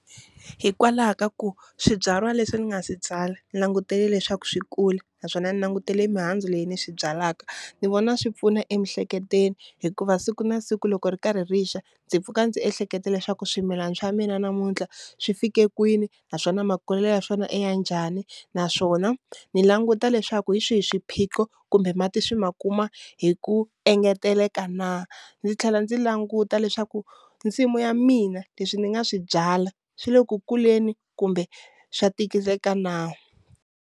Hikwalaho ka ku swibyariwa leswi ni nga swi byala ni langutele leswaku swi kula naswona ndzi langutele mihandzu leyi ni swi byalaka, ni vona swi pfuna emiehleketweni hikuva siku na siku loko ri karhi ri xa ndzi pfuka ndzi ehleketa leswaku swimilana swa mina namuntlha swi fike kwini naswona makulelo ya swona i ya njhani naswona ni languta leswaku hi swihi swiphiqo kumbe mati swi ma kuma hi ku engeteleka na, ndzi tlhela ndzi languta leswaku nsimu ya mina leswi ndzi nga swi byala swi le ku kuleni kumbe swa tikiseleka na.